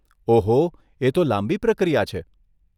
ઓહો, એ તો લાંબી પ્રક્રિયા છે.